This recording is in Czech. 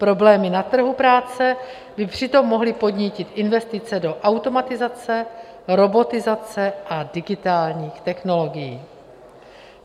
Problémy na trhu práce by přitom mohly podnítit investice do automatizace, robotizace a digitálních technologií.